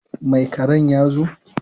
Mai ƙerin ya zo?